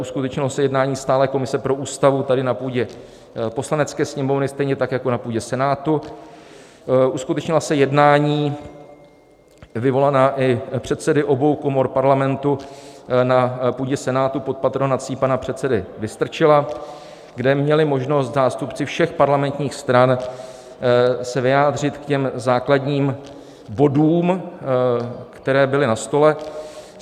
Uskutečnilo se jednání Stálé komise pro Ústavu tady na půdě poslanecké sněmovny, stejně tak jako na půdě Senátu, uskutečnila se jednání vyvolaná i předsedy obou komor Parlamentu na půdě Senátu pod patronací pana předsedy Vystrčila, kde měli možnost zástupci všech parlamentních stran se vyjádřit k těm základním bodům, které byly na stole.